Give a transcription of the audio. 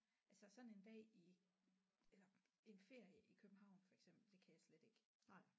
Altså sådan en dag i eller en ferie i København for eksempel det kan jeg slet ikke